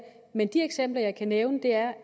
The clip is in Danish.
men de eksempler jeg kan nævne er